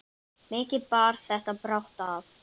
Mikið bar þetta brátt að.